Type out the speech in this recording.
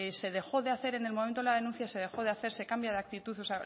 se dejó de hacer en el momento de la denuncia se dejó de hacer se cambia de actitud o